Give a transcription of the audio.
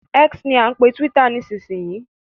X ni à ń pe túwítà nísìsiyìí